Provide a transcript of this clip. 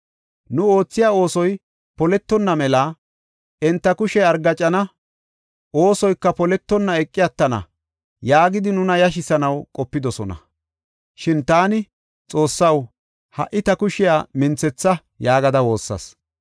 Nu oothiya oosoy poletonna mela, “Enta kushey argaacana; oosoyka poletonna eqi attana” yaagidi nuna yashisanaw qopidosona. Shin taani, “Xoossaw, ha77i ta kushiya minthetha” yaagada woossas.